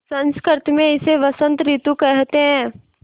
संस्कृत मे इसे बसंत रितु केहेते है